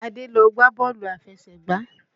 Àdé lọ gbá bọ́ọ̀lù aláfẹsẹ̀gbá.